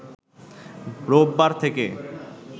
রোববার থেকে